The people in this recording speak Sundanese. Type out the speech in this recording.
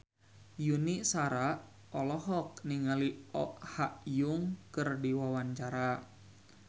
Yuni Shara olohok ningali Oh Ha Young keur diwawancara